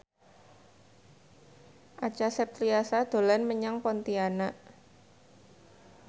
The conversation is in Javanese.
Acha Septriasa dolan menyang Pontianak